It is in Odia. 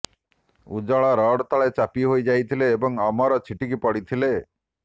ଉଜ୍ଜଳ ରଡ୍ ତଳେ ଚାପି ହୋଇ ଯାଇଥିଲେ ଏବଂ ଅମର ଛିଟିକି ପଡ଼ିଥିଲେ